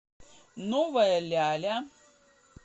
новая ляля